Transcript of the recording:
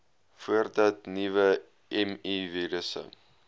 voordat nuwe mivirusse